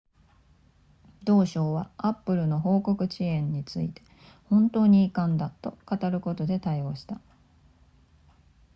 同省は apple の報告延期について本当に遺憾だと語ることで対応した